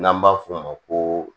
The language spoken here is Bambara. N'an b'a f'o ma ko